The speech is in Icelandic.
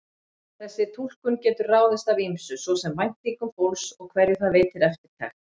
Þessi túlkun getur ráðist af ýmsu, svo sem væntingum fólks og hverju það veitir eftirtekt.